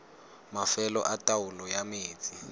mafelo a taolo ya metsi